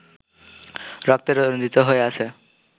রক্তে রঞ্জিত হয়ে আছে